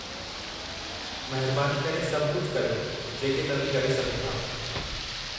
महिरबानी करे सभु कुझु करियो, जेके तव्हीं करे सघो था।